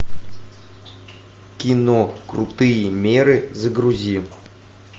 кино крутые меры загрузи